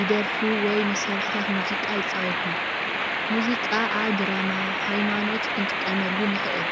ይደርፉ፤ ወይ መሳርሕታት ሙዚቃ ይፃወቱ፡፡ ሙዚቃ ኣብ ድራማ፣ ሃይማኖት ክንጥቀመሉ ንኽእል፡፡